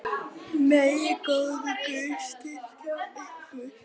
Megi góður Guð styrkja ykkur.